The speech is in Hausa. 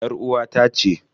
Yar uwata ce.